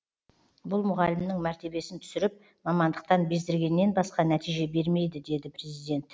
бұл мұғалімнің мәртебесін түсіріп мамандықтан бездіргеннен басқа нәтиже бермейді деді президент